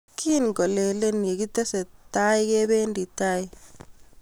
Kingolelee ye kitestai kebendi tai